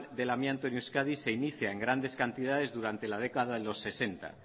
del amianto en euskadi se inicia en grandes cantidades durante la década de los sesenta